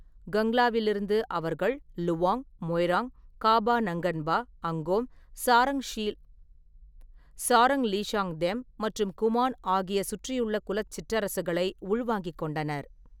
கங்லாவிலிருந்து அவர்கள் லுவாங், மொய்ராங், காபா-நங்கன்பா, அங்கோம், சாரங்-லீஷாங்தெம் மற்றும் குமான் ஆகிய சுற்றியுள்ள குலச் சிற்றரசுகளை உள்வாங்கிக் கொண்டனர்.